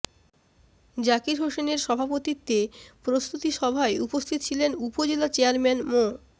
জাকির হোসেনের সভাপতিত্বে প্রস্তৃতি সভায় উপস্থিত ছিলেন উপজেলা চেয়ারম্যান মো